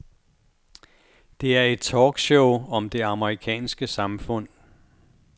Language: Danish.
Det er et talkshow om det amerikanske samfund.